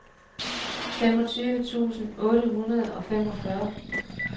femogtyve tusind otte hundrede og femogfyrre